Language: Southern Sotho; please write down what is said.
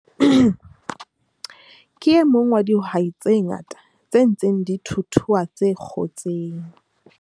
Ke e mong wa dihwai tse ngata tse ntseng di thuthua tse kgotseng